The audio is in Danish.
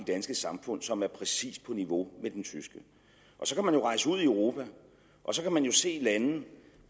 danske samfund som er præcis på niveau med den tyske så kan man jo rejse ud i europa og så kan man se lande